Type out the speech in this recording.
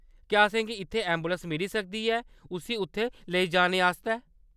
क्या असेंगी इत्थै ऐंबुलैंस मिली सकदी ऐ उस्सी उत्थै लेई जाने आस्तै?